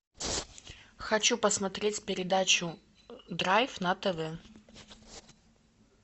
хочу посмотреть передачу драйв на тв